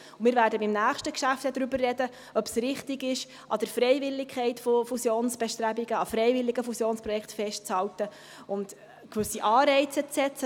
Wir werden im nächsten Geschäft darüber sprechen, ob es richtig ist, an der Freiwilligkeit von Fusionsbestrebungen, an freiwilligen Fusionskräften festzuhalten und gewisse Anreize zu setzen.